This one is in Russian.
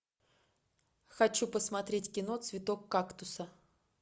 хочу посмотреть кино цветок кактуса